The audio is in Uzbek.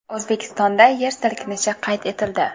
O‘zbekistonda yer silkinishi qayd etildi.